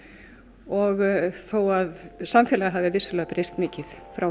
og þó að samfélagið hafi vissulega breyst mikið frá